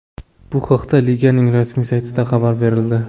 Bu haqda liganing rasmiy saytida xabar berildi .